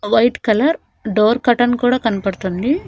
White colour door curtain కూడా కన్పడ్తుంది.